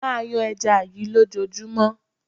Máa yan ẹja yí ló jọ júmọ́.